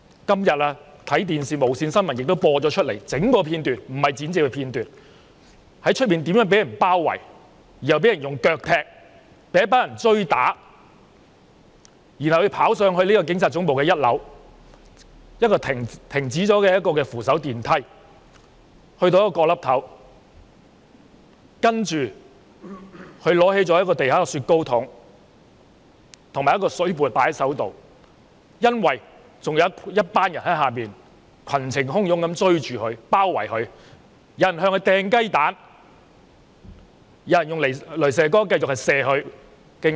今天無綫電視新聞播放了整段片段——不是剪接的片段——他在門外被一群人包圍、腳踢、追打，要走上一條停止運作的扶手電梯，跑到一個角落，拿起地上的"雪糕筒"及窗刮，因為下方還有一群人群情洶湧的追着包圍他，有人向他擲雞蛋，有人繼續用雷射燈照射他的雙眼。